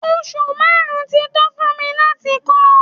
Oṣù márùn-ún tí tó fún mi láti kọ́ ọ.